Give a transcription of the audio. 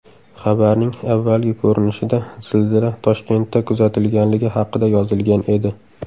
Xabarning avvalgi ko‘rinishida zilzila Toshkentda kuzatilganligi haqida yozilgan edi.